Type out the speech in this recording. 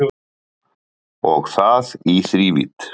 Og það í þrívídd